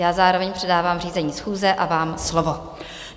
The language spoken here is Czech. Já zároveň předávám řízení schůze a vám slovo.